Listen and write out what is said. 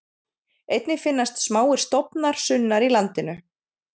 Einnig finnast smáir stofnar sunnar í landinu.